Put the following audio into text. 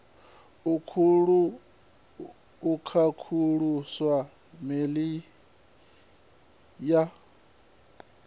akhauthu ya e meili ya